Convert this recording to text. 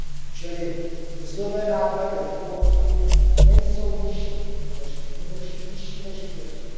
Čili mzdové náklady v Polsku nejsou nižší, nýbrž vyšší než v Irsku.